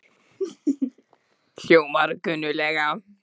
Hljómar kunnuglega?